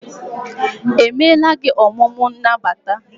emela gị omume n' nagbata?